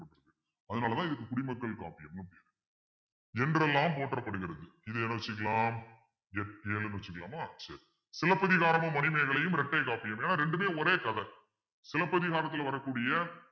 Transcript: அதனாலதான் இதுக்கு குடிமக்கள் காப்பியம்ன்னு என்றெல்லாம் போற்றப்படுகிறது இதை என்ன வச்சுக்கலாம் எட்டு ஏழுன்னு வச்சுக்கலாமா சரி சிலப்பதிகாரமும் மணிமேகலையும் இரட்டை காப்பியம் ஏன்னா ரெண்டுமே ஒரே கதை சிலப்பதிகாரத்துல வரக்கூடிய